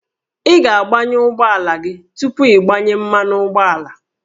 Ị ga-agbanyụ ụgbọala gị tupu ịgbanye mmanụ ụgbọala